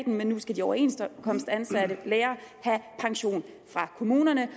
men nu skal de overenskomstansatte lærere have pension fra kommunerne